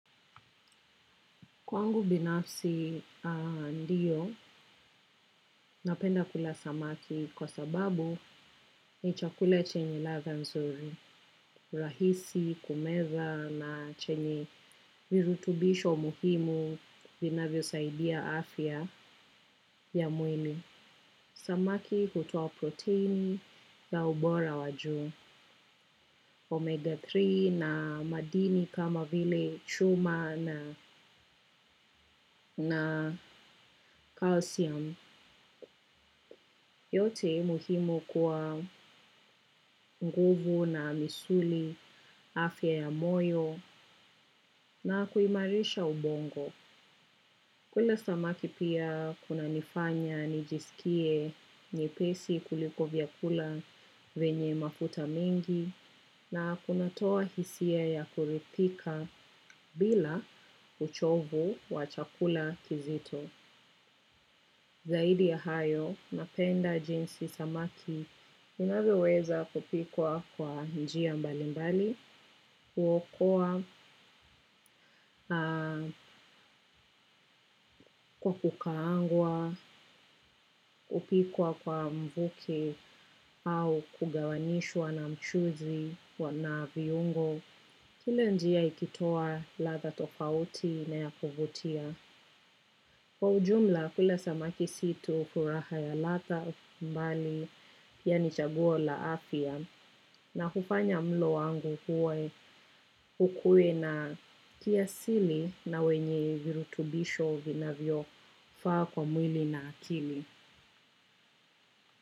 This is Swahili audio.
Kwangu binafsi ndiyo, napenda kula samaki kwa sababu ni chakula chenye ladha nzuri, rahisi, kumeza na chenye virutubisho muhimu vinavyosaidia afya ya mwili. Samaki hutoa protini za ubora wa juu Omega tatu na madini kama vile chuma na calcium. Yote muhimu kwa nguvu na misuli afya ya moyo na kuimarisha ubongo. Kula samaki pia kunanifanya nijisikie nyepesi kuliko vyakula venye mafuta mingi na kunatoa hisia ya kuridhika bila uchovu wa chakula kizito. Zaidi ya hayo, napenda jinsi samaki inavyoweza kupikwa kwa njia mbali mbali, kuokoa kwa kukaangwa, kupikwa kwa mvuke au kugawanishwa na mchuzi na viungo, kila njia ikitoa ladha tofauti na ya kuvutia. Kwa ujumla kula samaki si tu furaha ya ladha mbali yaani chaguo la afya na hufanya mlo wangu ukue na kiasili na wenye virutubisho vinavyofaa kwa mwili na akili.